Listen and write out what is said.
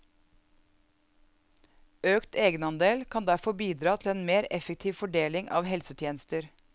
Økt egenandel kan derfor bidra til en mer effektiv fordeling av helsetjenester.